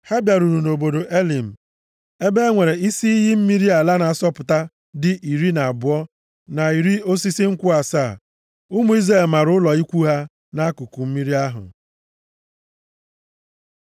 Ha bịaruru nʼobodo Elim, ebe e nwere isi iyi mmiri ala na-asọpụta dị iri na abụọ, na iri osisi nkwụ asaa. Ụmụ Izrel mara ụlọ ikwu ha nʼakụkụ mmiri ahụ.